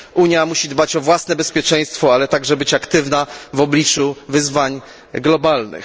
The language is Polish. Unia musi dbać o własne bezpieczeństwo, ale także być aktywna w obliczu wyzwań globalnych.